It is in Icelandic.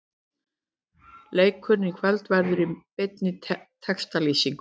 Leikurinn í kvöld verður í beinni textalýsingu.